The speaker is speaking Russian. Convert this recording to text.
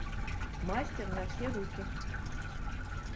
мастер на все руки